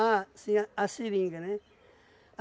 Ah, sim, a a seringa, né?